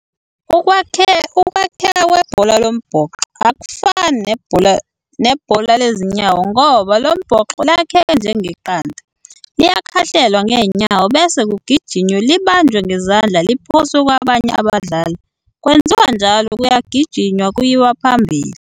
Ukwakheka kwebhola lombhoxo akufani nebhola lezinyawo, ngoba lombhoxo lakhekhe njengeqanda, liyakhahlelwa ngenyawo bese kugijinywe libanjwe ngezandla liphoswe kwabanye abadlali, kwenziwa njalo kuyagijinywa kuyiwa phambili.